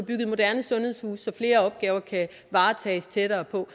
moderne sundhedshuse så flere opgaver kan varetages tættere på